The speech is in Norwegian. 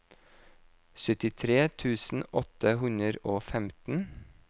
syttitre tusen åtte hundre og femten